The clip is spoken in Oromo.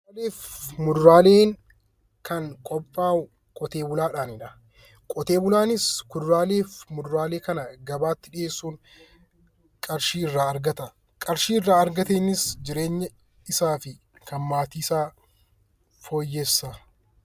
Kuduraalee fi muduraaleen kan qophaa'u, qotee bulaadhaanidha. Qotee bulaanis kuduraalee fi muduraalee kana gabaatti dhiheessuun qarshii irraa argata. Qarshii irraa argateenis jireenya isaa fi kan maatii isaa fooyyessa.